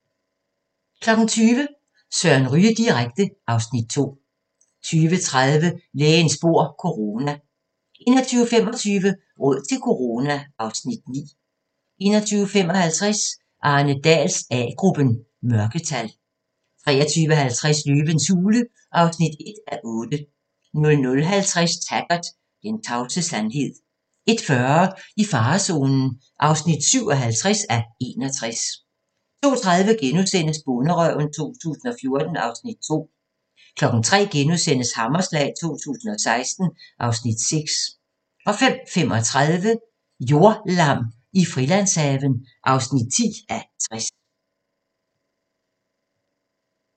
20:00: Søren Ryge direkte (Afs. 2) 20:30: Lægens bord - corona 21:25: Råd til corona (Afs. 9) 21:55: Arne Dahls A-gruppen: Mørketal 23:50: Løvens hule (1:8) 00:50: Taggart: Den tavse sandhed 01:40: I farezonen (57:61) 02:30: Bonderøven 2014 (Afs. 2)* 03:00: Hammerslag 2016 (Afs. 6)* 05:35: Jordlam i Frilandshaven (10:60)